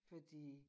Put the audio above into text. Fordi